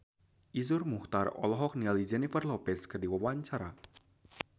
Iszur Muchtar olohok ningali Jennifer Lopez keur diwawancara